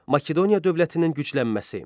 Makedoniya dövlətinin güclənməsi.